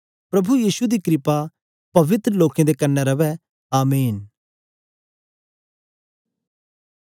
प्रभु यीशु दा क्रपा पवित्र लोकें दे कन्ने रवै आमीन